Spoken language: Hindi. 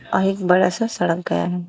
और एक बड़ा सा सड़क गया है।